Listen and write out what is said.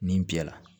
Nin bi yala